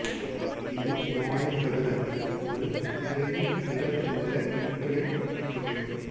இது மாயச் சதுரத்தின் ஒரு நிரையில் நிரல் உள்ள எண்களின் கூட்டுத்தொகை